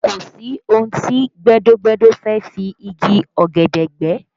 Kò sí ohun tí gbẹ́dọ́-gbẹ́dọ́ fẹ́ fi igi ọ̀gẹ̀dẹ̀ gbẹ́